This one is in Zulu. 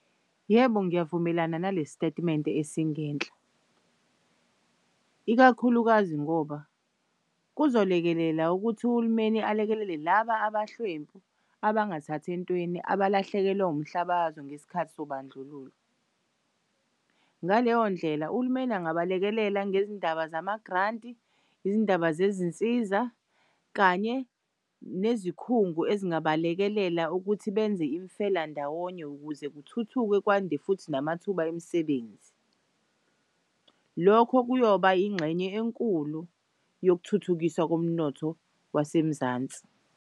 Yebo, ngiyavumelana nalesitatimende esingenhla, ikakhulukazi ngoba kuzolekelela ukuthi uhulumeni alekelele laba abahlwempu abangathathi entweni abalahlekelwa umhlaba wazo ngesikhathi sobandlululo. Ngaleyo ndlela uhulumeni angabalekelela ngezindaba zama-grant-i, izindaba zezinsiza kanye nezikhungo ezingabalekelela ukuthi benze imfelandawonye ukuze kuthuthukwe kwande futhi namathuba emisebenzi. Lokho kuyoba ingxenye enkulu yokuthuthukiswa komnotho wasemzansi.